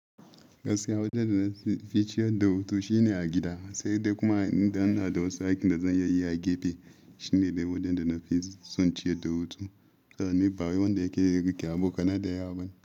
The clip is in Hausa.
Gaskiya wajen da na fi ciyar da hutu shine a gida, sai dai kuma idan ina da wasu aikin da zan yayyi a gefe shine dai wajen da na fi son ciyar da hutu. Saboda ni bawai wanda yake iya rike a bokanai da yawa bane.